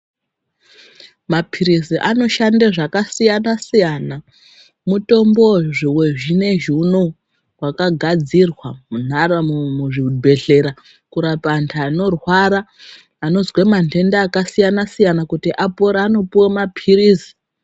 Maphirizi anoshande zvakasiyana-siyana mutombo wezvinezvi unowu wakagadzirwa muzvibhehlera kurapa antu anorwara anozwa manhenda akasiyana -siyana kuti apore anopuwe maphirizi.